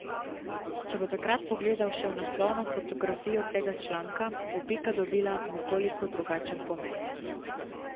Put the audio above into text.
Če bo takrat pogledal še v naslovno fotografijo tega članka, bo pika dobila nekoliko drugačen pomen.